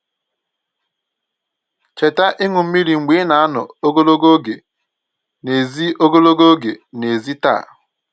Cheta ịṅu mmiri mgbe ị na-anọ ogologo oge n'èzí ogologo oge n'èzí taa